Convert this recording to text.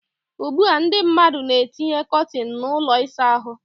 Ugbu a ndị mmadụ na etinye kọtin na ụlọ ịsa ahụ.